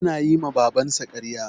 Yana yi ma Babansa karya.